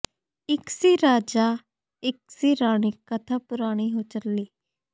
ਇਕ ਸੀ ਰਾਜਾ ਇਕ ਸੀ ਰਾਣੀ ਕਥਾ ਪੁਰਾਣੀ ਹੋ ਚੱਲੀ